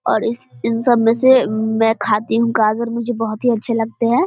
और इस इन सब में से में खाती हूँ गाजर मुझे बहुत अच्छे लगते हैं।